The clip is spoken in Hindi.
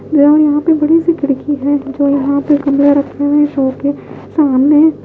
यहां पर बड़ी सी खिड़की है जो यहां पे कमरे रखे हुए हैं शो के सामने--